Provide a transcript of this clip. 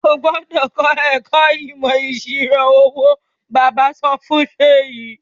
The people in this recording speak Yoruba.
O gbúdọ̀ l ẹ̀kọ́ ìmọ̀ ìṣirò owó! Bàbá sọ fún Seyi.